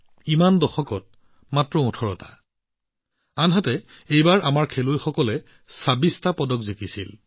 বিগত দশকবোৰত মাত্ৰ ১৮টা আনহাতে এইবাৰ আমাৰ খেলুৱৈসকলে ২৬টা পদক লাভ কৰে